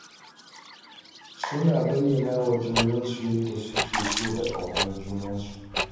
Suna bayyana wa junansu yadda suke so da ƙaunar junansu.